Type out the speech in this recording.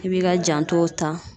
I b'i ka jantow ta.